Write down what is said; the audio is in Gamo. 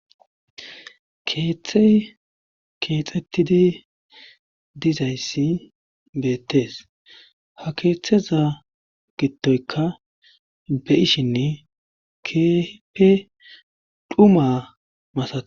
keeththey keexettidi dizayssi beettees ha keeththeza gidoyka be'ishinne keehippe dhuma masates